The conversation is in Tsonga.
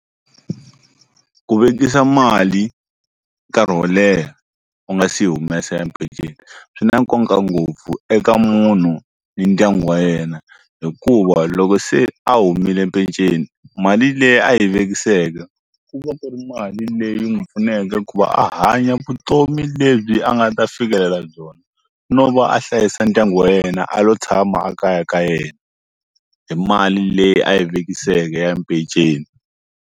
Ku vekisa mali nkarhi wo leha u nga si yi humesa ya peceni swi na nkoka ngopfu eka munhu ni ndyangu wa yena hikuva loko se a humile peceni mali leyi a yi vekiseke ku va ku ri mali leyi n'wi pfuneke ku va a hanya vutomi lebyi a nga ta fikelela byona no va a hlayisa ndyangu wa yena a lo tshama a kaya ka yena hi mali leyi a yi vekiseke ya peceni.